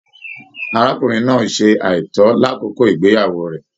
Arákùnrin náà ṣe aitọ l'akoko igbeyawo rẹ.